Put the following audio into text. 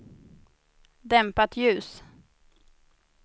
dämpat ljus